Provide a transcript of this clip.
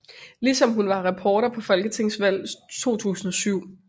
Ligesom hun var reporter på folketingsvalg 2007